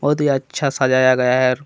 बहुत ही अच्छा सजाया गया है।